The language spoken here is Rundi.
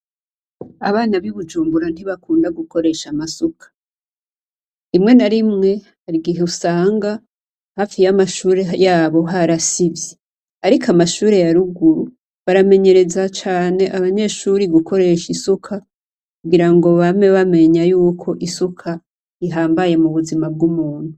Abana b'ibujumbura ntibakunda gukoresha amasuka. Rimwe na rimwe hari igihe usanga hafi y’amashure yabo harasivye. Ariko amashure ya ruguru baramenyereza cane abanyeshure gukoresha isuka kugira ngo bame bamenya yuko isuka ihambaye mu buzima bw'umuntu.